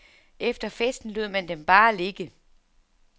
Efter festen lod man dem bare ligge.